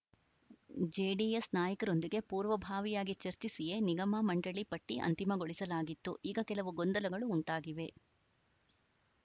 JDS ನಾಯಕರೊಂದಿಗೆ ಪೂರ್ವಭಾವಿಯಾಗಿ ಚರ್ಚಿಸಿಯೇ ನಿಗಮ ಮಂಡಳಿ ಪಟ್ಟಿಅಂತಿಮಗೊಳಿಸಲಾಗಿತ್ತು ಈಗ ಕೆಲವು ಗೊಂದಲಗಳು ಉಂಟಾಗಿವೆ